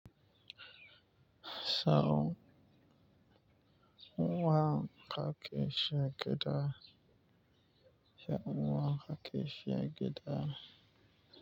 Sau nawa ka ke shiya gyaɗa, ya nwa ka ke shiya gyaɗa.